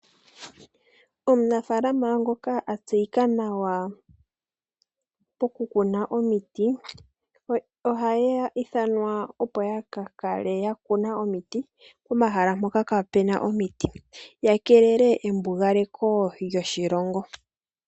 Omunafaalama ngoka a tseyika nawa poku kuna omiti ohaya ithanwa opo ya ka kale ya kuna omiti pomahala mpoka kaapuna omiti, ya keelele embugaleko lyoshilongo.